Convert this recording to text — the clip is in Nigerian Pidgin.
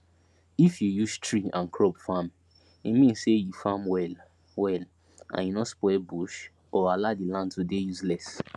if you use tree and crop farme mean say u farm well well and u no spoil bush or allow the land to dey useless